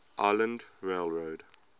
island rail road